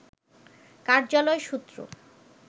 কার্যালয় সূত্র